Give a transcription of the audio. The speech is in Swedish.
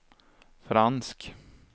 fransk